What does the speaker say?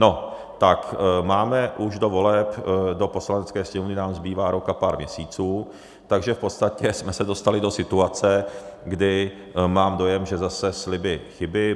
No tak máme už, do voleb do Poslanecké sněmovny nám zbývá rok a pár měsíců, takže v podstatě jsme se dostali do situace, kdy mám dojem, že zase sliby chyby.